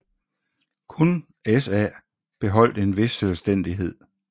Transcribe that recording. Kun SA beholdt en vis selvstændighed